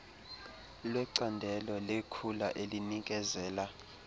lwecandelo lekhula elinikezela